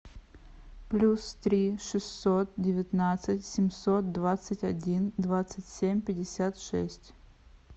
плюс три шестьсот девятнадцать семьсот двадцать один двадцать семь пятьдесят шесть